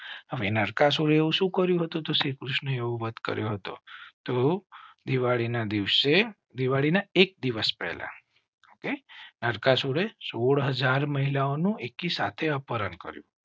હવે નરકાસુર એવું શું કર્યું હતું? શ્રીકૃષ્ણએ વધ કર્યો હતો તો દિવાળી ના દિવસે દિવાળી ના એક દિવસ પહેલા. સોડ હાજર મહિલાઓ એક સાથે અપહરણ કરી